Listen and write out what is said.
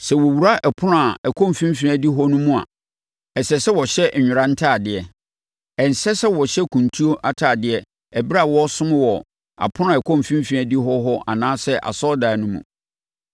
“ ‘Sɛ wɔwura apono a ɛkɔ mfimfini adihɔ no mu a, ɛsɛ sɛ wɔhyɛ nwera ntadeɛ. Ɛnsɛ sɛ wɔhyɛ kuntu atadeɛ ɛberɛ a wɔresom wɔ apono a ɛkɔ mfimfini adihɔ hɔ anaasɛ asɔredan no mu.